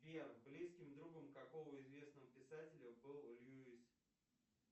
сбер близким другом какого известного писателя был льюис